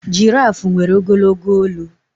Girafu nwere ogologo olu